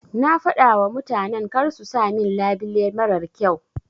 Na fadawa mutanan karsu sa min labile marar kyau.